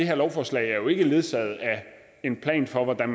her lovforslag er jo ikke ledsaget af en plan for hvordan